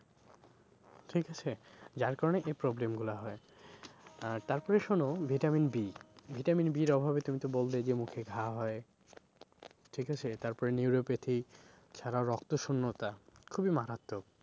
ঠিক আছে? যার কারণে এই problem গুলো হয় আহ তারপরে শোনো vitamin B, vitamin B র অভাবে তুমি তো বললেই যে মুখে ঘা হয় ঠিক আছে তারপরে neuropathy ছাড়াও রক্ত শূন্যতা খুবই মারাত্মক।